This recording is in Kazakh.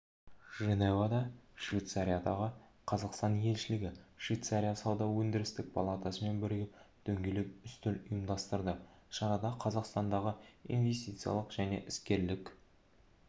женевада швейцариядағы қазақстан елшілігі швейцария сауда-өндірістік палатасымен бірігіп дөңгелек үстел ұйымдастырды шарада қазақстадағы инвестициялық және іскерлік